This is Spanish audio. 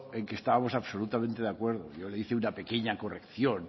en que estábamos absolutamente de acuerdo yo le hice una pequeña corrección